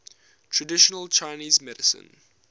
traditional chinese medicine